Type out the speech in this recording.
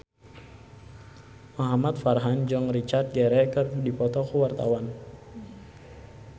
Muhamad Farhan jeung Richard Gere keur dipoto ku wartawan